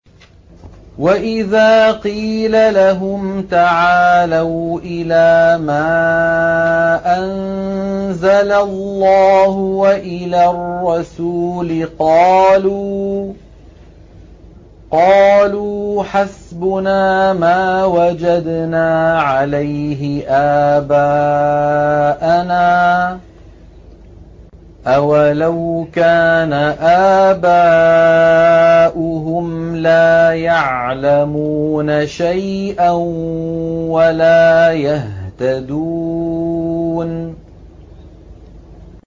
وَإِذَا قِيلَ لَهُمْ تَعَالَوْا إِلَىٰ مَا أَنزَلَ اللَّهُ وَإِلَى الرَّسُولِ قَالُوا حَسْبُنَا مَا وَجَدْنَا عَلَيْهِ آبَاءَنَا ۚ أَوَلَوْ كَانَ آبَاؤُهُمْ لَا يَعْلَمُونَ شَيْئًا وَلَا يَهْتَدُونَ